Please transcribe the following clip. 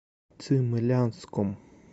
цимлянском